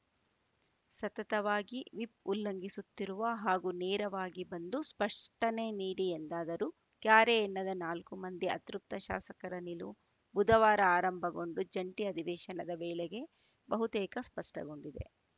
ಸತತವಾಗಿ ವಿಪ್‌ ಉಲ್ಲಂಘಿಸುತ್ತಿರುವ ಹಾಗೂ ನೇರವಾಗಿ ಬಂದು ಸ್ಪಷ್ಟನೆ ನೀಡಿ ಎಂದಾದರೂ ಕ್ಯಾರೆ ಎನ್ನದ ನಾಲ್ಕು ಮಂದಿ ಅತೃಪ್ತ ಶಾಸಕರ ನಿಲುವು ಬುಧವಾರ ಆರಂಭಗೊಂಡು ಜಂಟಿ ಅಧಿವೇಶನದ ವೇಳೆಗೆ ಬಹುತೇಕ ಸ್ಪಷ್ಟಗೊಂಡಿದೆ